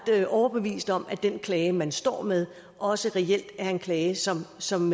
overbevist om at den klage man står med også reelt er en klage som som